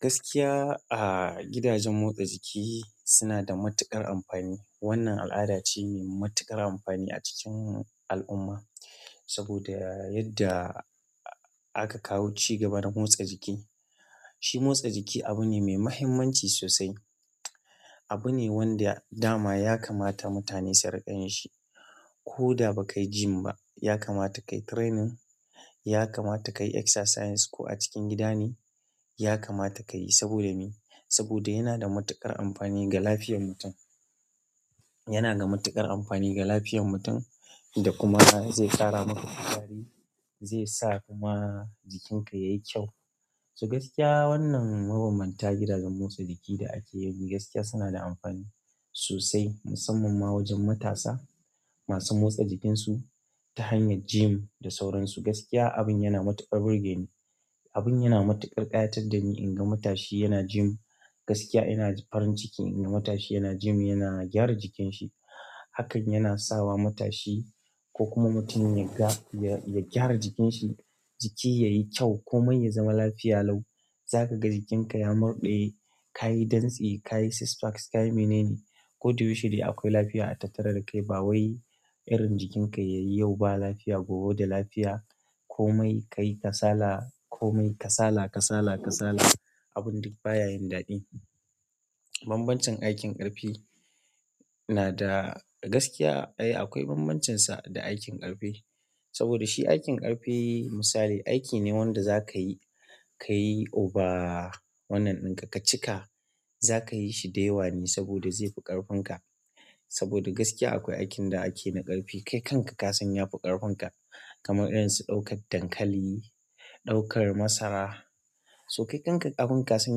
Gaskiya, a gidajen motsa jiki suna da matuƙar amfani. Wannan al'ada ce mai matuƙar amfani a cikin al'umma. Saboda yadda aka kawo cigaba na motsa jiki. Shi motsa jiki abu ne mai muhimmanci sosai. Abu ne wanda dama ya kamata mutane su riƙa yin shi. Ko da ba kai gym ba, ya kamata kayi training, ya kamata kayi exercise ko a cikin gida ne, ya kamata kayi saboda me? Saboda yana da matuƙar amfani ga lafiyar mutum. Yana da matuƙar amfani ga lafiyar mutum da kuma zai ƙara maka kuzari, zai sa kuma jikinka yayi kyau. So gaskiya wannan mabanbanta gidajen motsa jiki da ake yau, gaskiya suna da amfani sosai, musamman ma wajen matasa masu motsa jikinsu ta hanyar gym da sauransu. Gaskiya abin yana matuƙar burge ni, abin yana matuƙar ƙayatar da ni in ga matashi yana gym. Gaskiya ina farin ciki in ga matashi yana gym, yana gyara jikinsa. Hakan yana sawa matashi ko kuma mutum ya ga, ya gyara jikinsa, jiki yayi kyau komai ya zama lafiya lau. Zaka ga jikinka ya murɗe, ka yi dantse, ka yi six packs, ka yi mene ne. Ko da yaushe dai akwai lafiya a tattare da kai. Ba wai irin jikinka yayi yau ba lafiya gobe da lafiya komai ka yi kasala, komai ka sala, ka sala, ka sala abun duk baya yin daɗi. Banbancin aikin ƙarfi na da gaskiya. Ai akwai banbancinsa da aikin ƙarfi. Saboda shi aikin ƙarfi misali aiki ne wanda za ka yi, ka yi over wannan ɗinka ka cika, za kayi shi da yawa ne saboda zai fi ƙarfin ka. Saboda gaskiya akwai aikin da ake na ƙarfi kai kanka ka san ya fi ƙarfin ka. Kamar irin su ɗaukar dankali, ɗaukar masara. So kai kanka abin ka san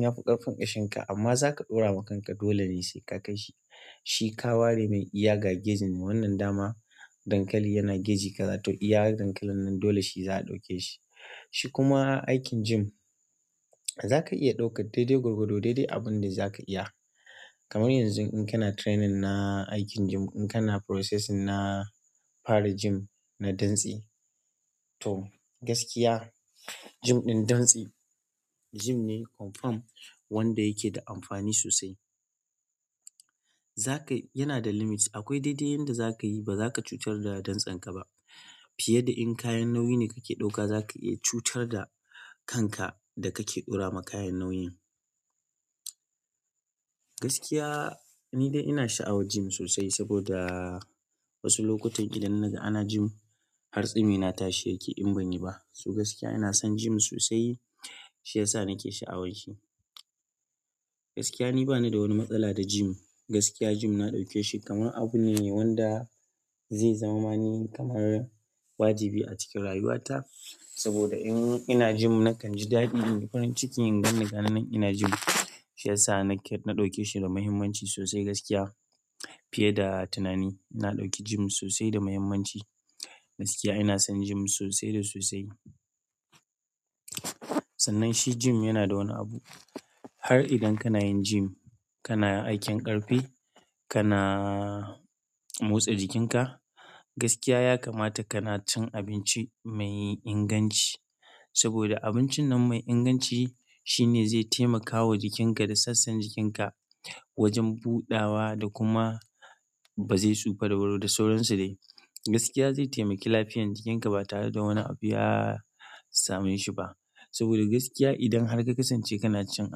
ya fi ƙarfin kashinka amma zaka ɗora wa kanka dole ne sai ka kai shi. Shi ka ware mai iya ga gejin wannan dama dankali kaza, yana geji kaza to iya dankalin nan dole shi zaka ɗauke shi shi kuma aikin gym, za ka iya ɗaukar daidai gwargwado, daidai abin da za ka iya. Kamar yanzu in kana training na aikin gym, in kana processing na fara gym na dantse to gaskiya gym ɗin dantse gym ne confirm wanda yake da amfani sosai. Zakai yana da limit. Akwai daidai yanda za ka yi ba za ka cutar da dantsanka ba. Fiye da in kayan nauyi ne kake ɗauka za ka iya cutar da kanka da kake ɗora wa kayan nauyu. Gaskiya ni dai ina sha'awar gym sosai saboda wasu lokutan idan na ga ana gym hartsumi na tashi yake in banyi ba. So gaskiya ina son gym sosai shi yasa nake sha'awar shi. Gaskiya ni bani da wani matsala da gym. Gaskiya gym na ɗauke shi kamar abu ne wanda zai zama mani kaman wajibi a cikin rayuwata. Saboda in ina gym na kanji daɗi nayi farin ciki in gan ni ganin nan ina gym. Shi yasa na ɗauke shi da mahimmanci gaskiya fiye da tunani. Na ɗauki gym sosai da muhimmanci. Gaskiya ina son gym sosai da sosai. Sannan shi gym yana da wani abu. Har idan kana yin gym, kana aikin ƙarfi, kana motsa jikinka, gaskiya ya kamata kana cin abinci mai inganci. Saboda abincin nan mai inganci shine zai taimakawa jikinka da sassan jikinka wajen budawa da kuma ba zai tsufa da wuri ba, da sauransu de gaskiya zai taimaki lafiyar jikinka ba tare da wani abu ya same shi ba. Saboda gaskiya idan har ka kasance kana cin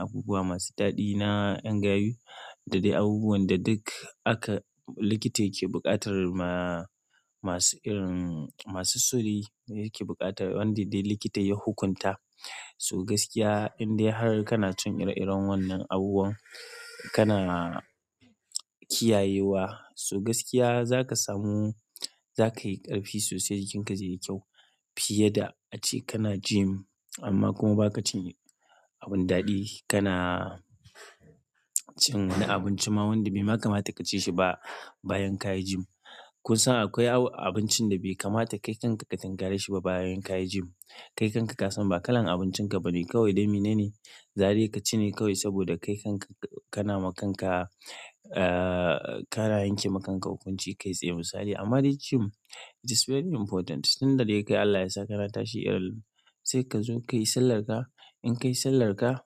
abubuwa masu daɗi na ƴan gayu da dai abubuwan da duk aka likita yake buƙatar ma masu irin masu so de yake buƙatar wanda dai likita ya hukunta. So gaskiya in dai har kana cin ire-iren wannan abubuwan, kana kiyayewa so gaskiya za ka samu za ka yi ƙarfi sosai jikinka zai yi kyau. Fiye da ace kana gym amma kuma ba ka cin abun daɗi. Kana cin wani abinci ma wanda bai kamata ka ci shi ba bayan ka yi gym. Kun san akwai abincin da bai kamata kai kanka ka tunkare shi ba bayan ka yi gym. Kai kanka ka san ba kalan abincin ka bane kawai dai mene ne. Za de ka ci ne kawai saboda kai kanka kana ma kanka, eh, kana yanke ma kanka hukunci kai tsaye misali. Amma dai gym it is very important. Tunda de kai Allah yasa kana tashi sai kazo kayi sallarka in ka yi sallar ka.